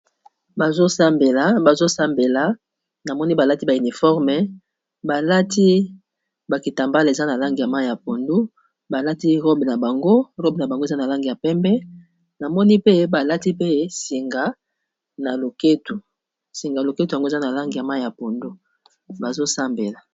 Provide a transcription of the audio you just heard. Bazo sambela namoni balati ba uniforme, ba lati ba kitambala eza na langi ya mayi ya pondu, ba lati robe na bango eza na langi ya pembe, namoni pe ba lati pe singa na loketo, singa loketo yango eza na langi ya mayi ya pondu bazo sambela.